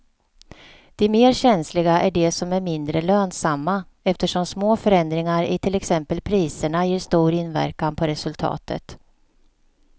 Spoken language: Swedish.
De mer känsliga är de som är mindre lönsamma eftersom små förändringar i till exempel priserna ger stor inverkan på resultatet.